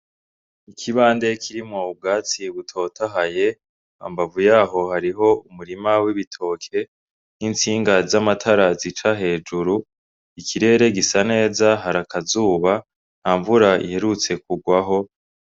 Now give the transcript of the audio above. Ikibande kirimwo ubwatsi butotahaye hambavu yaho hariho umurima w'ibitoke n'intsinga z'amatara zica hejuru, ikirere gisa neza har'akazuba, nta mvura iherutse kurwaho.